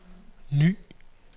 ny